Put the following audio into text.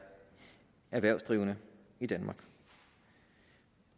erhvervsdrivende i danmark